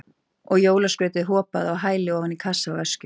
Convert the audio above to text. Og jólaskrautið hopaði á hæli ofan í kassa og öskjur.